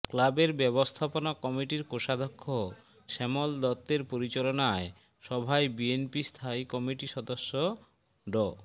ক্লাবের ব্যবস্থাপনা কমিটির কোষাধ্যক্ষ শ্যামল দত্তের পরিচালনায় সভায় বিএনপি স্থায়ী কমিটির সদস্য ড